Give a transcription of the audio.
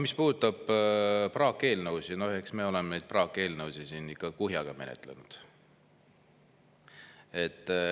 Mis puudutab praakeelnõusid, siis eks me oleme neid praakeelnõusid siin ikka kuhjaga menetlenud.